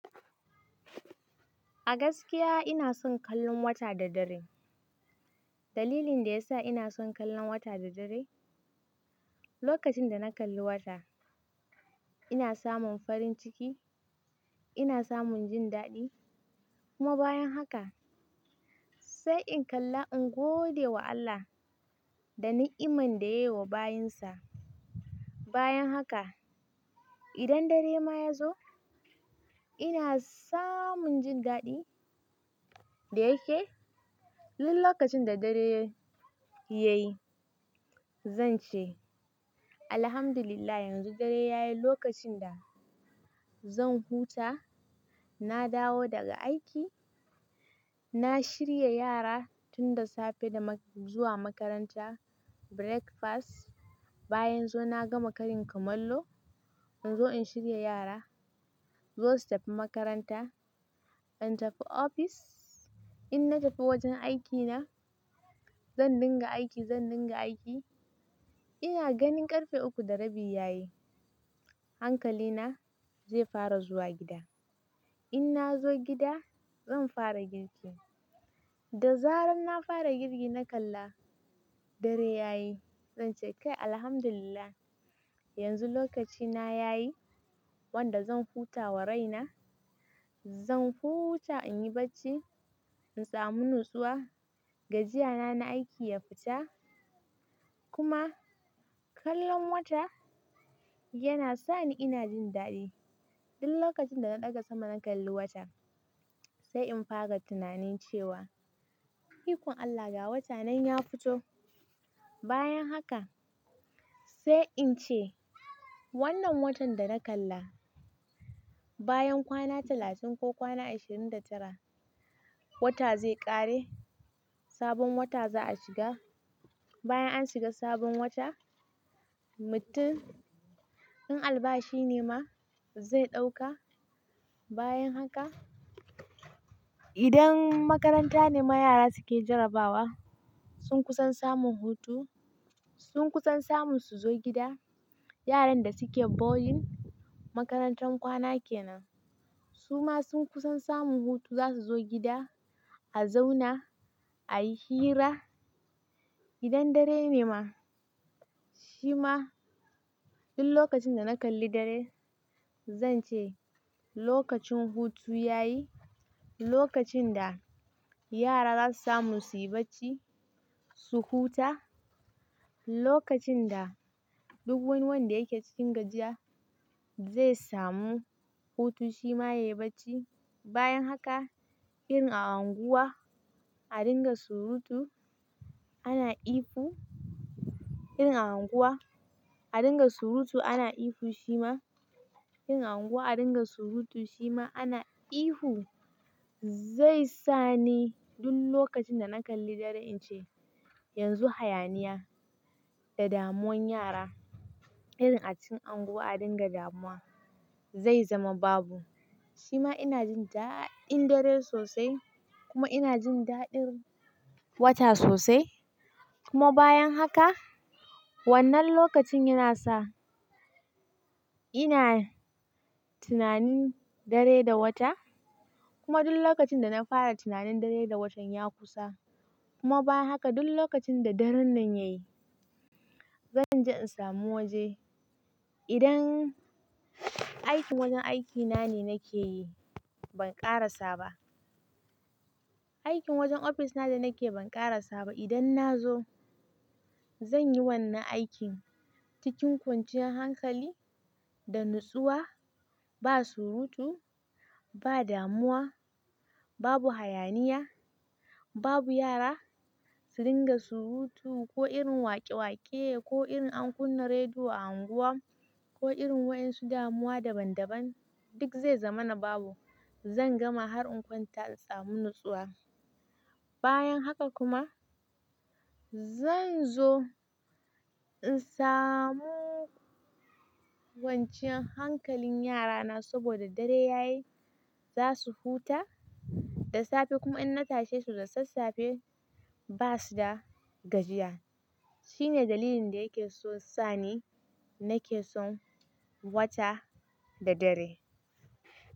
A gaskiya ina son kallon wata da dare. Dalilin da yasa ina son kallon wata da dare, lokacin da na kalli wata ina samun farin ciki, ina samun jin daɗi kuma bayan haka sai in kalla in gode wa Allah da na'iman da yayi wa bayinsa. Bayan haka idan dare ma ya zo ina samun jin daɗi da yake. Duk lokacin da dare yayi zan ce, Alhamdulillah yanzu dare yayi lokacin da zan huta. Na dawo daga aiki, na shirya yara tun da safe zuwa makaranta, breakfast, bayan zuwa na gama karin kamallo in zo in shirya yara su zo su tafi makaranta. In tafi ofis, in na tafi wajen aikina zan dinga aiki, zan dinga aiki ina ganin ƙarfe uku da rabi yayi hankalina zai fara zuwa gida. In na zo gida zan fara girki da zarar na fara girki na kalla dare yayi zan ce kai Alhamdulillah yanzu lokacina yayi wanda zan huta wa raina. Zan huta in yi bacci in samu natsuwa, gajiyana na aiki ya fita kuma kallon wata yana sani ina jin daɗi. Duk lokacin da na ɗaga sama na kalli wata sai in fara tunanin cewa ikon Allah ga wata nan ya fito. Bayan haka sai in ce wannan watan da na kalla bayan kwana talatin ko kwana ashirin da tara wata zai ƙare sabon wata za a shiga. Bayan an shiga sabon wata mutum in albashi ne ma zai ɗauka bayan haka idan makaranta ne ma yara suke jarabawa sun kusan samun hutu, sun kusan samun su zo gida. Yaran da suke boarding makarantar kwana ke nan su ma sun kusan samun hutu za su zo gida a zauna ayi hira. Idan dare ne ma shi ma duk lokacin da na kalli dare zan ce lokacin hutu yayi, lokacin da yara za su samu su yi bacci su huta, lokacin da duk wani wanda yake cikin gajiya zai samu hutu shi ma yayi bacci. Bayan haka irin a unguwa a dinga surutu ana ihu, irin a unguwa a dinga surutu ana ihu shi ma irin a unguwa a dinga surutu shi ma ana ihu zai sa ni duk lokacin da na kalli dare in ce yanzu hayaniya da damuwan yara irin a cikin unguwa a dinga damuwa zai zama babu. Shi ma ina jin daɗin dare sosai kuma ina jin daɗin wata sosai kuma bayan haka wannan lokacin yana sa ina tunanin dare da wata kuma duk lokacin da na fara tunanin dare da watan ya kusa kuma bayan haka duk lokacin da daren nan yayi zan je in samu waje. Idan aikin wajen aikina ne nake yi ban ƙara saba. Aikin wajen ofis na da nake yi ban ƙara saba idan na zo zan yi wannan aikin cikin kwanciyar hankali da natsuwa ba surutu, ba damuwa, babu hayaniya, babu yara su dinga surutu ko irin waƙe-waƙe ko irin an kunna rediyo a unguwa ko irin wayan su damuwa daban-daban duk zai zama na babu. Zan gama har in kwanta in samu natsuwa. Bayan haka kuma zan zo in samu kwanciyar hankalin yarana saboda dare yayi za su huta da safe kuma in na tashe su da sassafe ba su da gajiya. Shine dalilin da yake so sani nake son wata da dare.